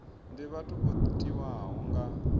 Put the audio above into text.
ndi vhathu vho tiwaho nga